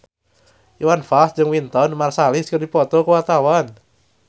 Iwan Fals jeung Wynton Marsalis keur dipoto ku wartawan